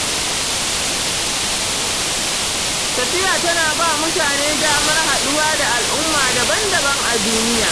Tafiya tana ba mutane damar haɗuwa da al'umma daban-daban a duniya.